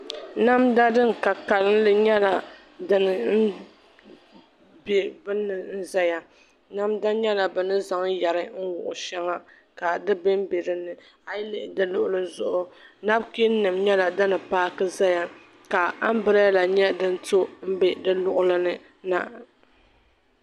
Namda din ka kanli nyɛla din bɛ binni n ʒɛya namda nyɛla bi ni zaŋ yɛri n wuɣu shɛŋa ka di bɛnbɛ dinni a yi lihi di luɣuli zuɣu nabkiin nim nyɛla din paaki ʒɛya ka anbirɛla nyɛ din to n bɛ di luɣuli ni na